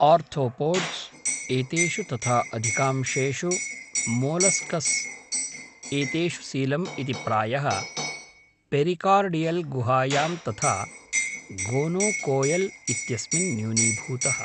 Arthropods एतेषु तथा अधिकांशेषु मोलस्क्स् एतेषु सीलम् इति प्रायः पेरिकार्डियल् गुहायां तथा गोनोकोएल् इत्यस्मिन् न्यूनीभूतः।